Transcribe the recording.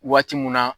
Waati mun na